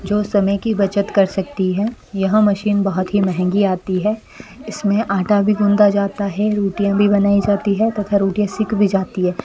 जो समय की बचत कर सकती है यह मशीन बहुत ही महंगी आती है इसमें आटा भी गूंथा जाता है रोटियां भी बनाई जाती है तथा रोटियां सिख भी जाती है।